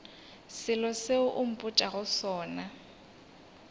selo seo o mpotšago sona